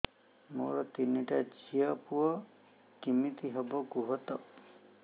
ମୋର ତିନିଟା ଝିଅ ପୁଅ କେମିତି ହବ କୁହତ